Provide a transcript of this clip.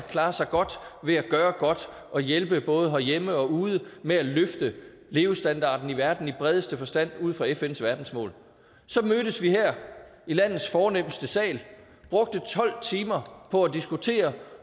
klare sig godt ved at gøre godt og hjælpe både herhjemme og ude med at løfte levestandarden i verden i bredeste forstand ud fra fns verdensmål så mødtes vi her i landets fornemste sal brugte tolv timer på at diskutere